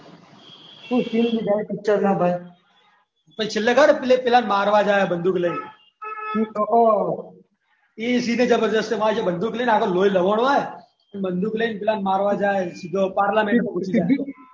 શું સીન લીધા છે પિક્ચર ના ભાઈ પછી છેલ્લે ખબર પેલા ને મારવા જાય બંદૂક લઈને ઓહો એ સીન બી જબરજસ્ત છે બંદૂક લઈને આખું લોહી લુહાણ અને બંદૂક લઇને પહેલા અને મારવા જાય પાર્લામેન્ટમાં ઘૂસી જાય અંદર.